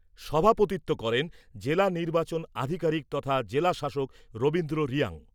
সভাপতিত্ব করেন জেলা নির্বাচন আধিকারিক তথা জেলাশাসক রবীন্দ্র রিয়াং।